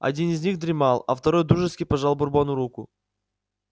один из них дремал а второй дружески пожал бурбону руку